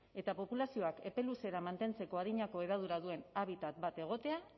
eta populazioak epe luzera mantentzeko adinako hedadura duen habitat bat egotea